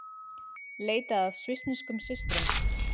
Leita að svissneskum systrum